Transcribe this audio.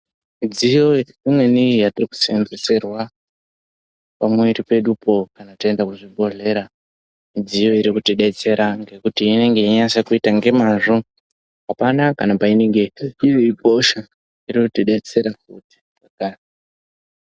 Midziyo imweni yatinoseenzeserwa pamwiiri pedupo kana taenda kuzvibhodhlera, midziyo iri kutidetsera ngekuti inenge yeinyatsakuita ngemazvo. Hapana kana painenge iri, inotidetsera.